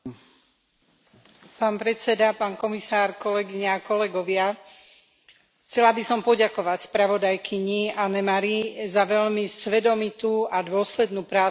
Pán predsedajúci, pán komisár, kolegyne a kolegovia, chcela by som poďakovať spravodajkyni Anne Marie za veľmi svedomitú a dôslednú prácu na tejto správe.